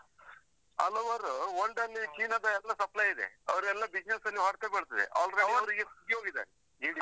ಹಲವಾರು World ಅಲ್ಲಿ China ದ ಎಲ್ಲ supply ಇದೆ, ಅವರೆಲ್ಲ business ಅಲ್ಲಿ ಹೊಡ್ತ ಬೀಳ್ತದೆ ಅವರ್ ಅಂದ್ರೆ ಅವರದ್ದು ಇದೆ.